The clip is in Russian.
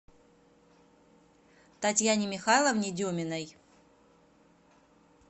татьяне михайловне деминой